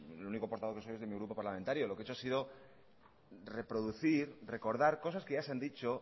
el único portavoz que soy es de mi grupo parlamentario lo que hecho ha sido reproducir recordar cosas que ya se han dicho